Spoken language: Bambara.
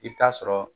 I bɛ taa sɔrɔ